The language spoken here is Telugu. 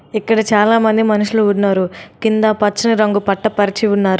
ఇక్కడ చాలామంది మనుషులు ఉన్నారు. కింద పచ్చని రంగు పట్ట పరిచి ఉన్నారు.